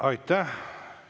Aitäh!